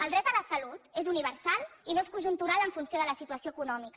el dret a la salut és universal i no és conjuntural en funció de la situació econòmica